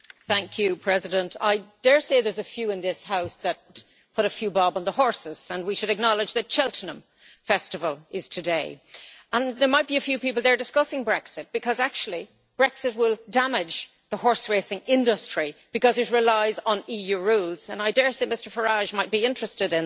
Mr President, I dare say there are a few in this House that put a few bob on the horses and we should acknowledge that the Cheltenham Festival is today. There might be a few people there discussing Brexit because actually Brexit will damage the horse-racing industry because it relies on EU rules, and I dare say Mr Farage might be interested in that.